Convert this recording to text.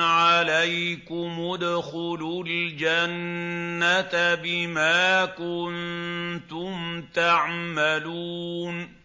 عَلَيْكُمُ ادْخُلُوا الْجَنَّةَ بِمَا كُنتُمْ تَعْمَلُونَ